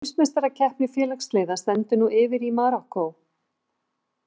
Heimsmeistarakeppni félagsliða stendur nú yfir í Marokkó.